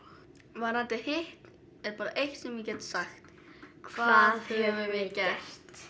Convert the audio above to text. varðandi hitt er bara eitt sem ég get sagt hvað höfum við gert